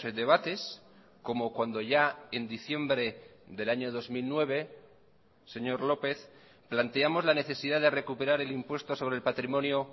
debates como cuando ya en diciembre del año dos mil nueve señor lópez planteamos la necesidad de recuperar el impuesto sobre el patrimonio